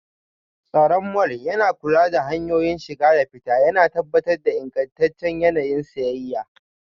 Tsaron mall yana kula da hanyoyin shiga da fita, yana tabbatar da ingantaccen yanayin siyayya.